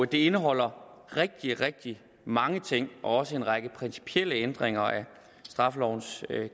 det indeholder rigtig rigtig mange ting også en række principielle ændringer af straffelovens